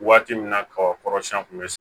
Waati min na kaba kɔrɔ siyɛn kun bɛ